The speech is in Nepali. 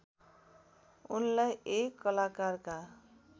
उनलाई एक कलाकारका